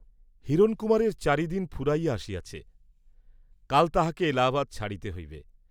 হিরণকুমারের চারি দিন ফুরাইয়া আসিয়াছে, কাল তাঁহাকে এলাহাবাদ ছাড়িতে হইবে।